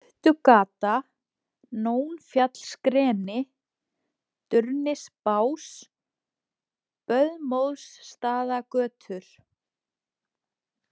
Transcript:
Stuttugata, Nónfjallsgreni, Durnisbás, Böðmóðsstaðagötur